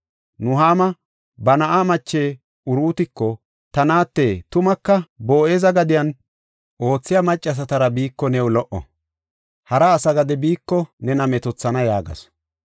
Nuhaama ba na7a mache Uruutiko, “Ta naate, tumaka Boo7eza gadiyan oothiya maccasatara biiko new lo77o. Hara asa gade biiko nena metoothana” yaagasu.